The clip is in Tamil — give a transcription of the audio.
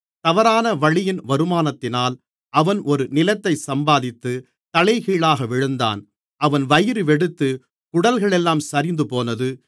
தவறான வழியின் வருமானத்தினால் அவன் ஒரு நிலத்தைச் சம்பாதித்து தலைகீழாக விழுந்தான் அவன் வயிறுவெடித்து குடல்களெல்லாம் சரிந்துபோனது